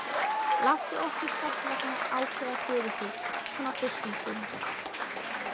Láttu okkur þessvegna ákveða fyrir þig, svona fyrst um sinn.